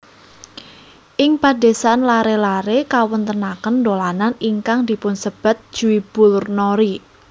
Ing padesan laré laré ngawontenaken dolanan ingkang dipunsebat jwibulnori